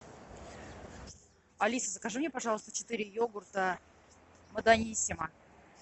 алиса закажи мне пожалуйста четыре йогурта даниссимо